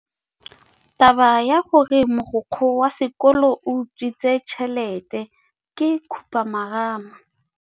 Taba ya gore mogokgo wa sekolo o utswitse tšhelete ke khupamarama.